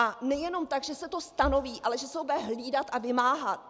A nejenom tak, že se to stanoví, ale že se to bude hlídat a vymáhat.